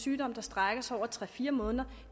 sygdom som strækker sig over tre fire måneder